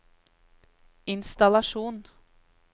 innstallasjon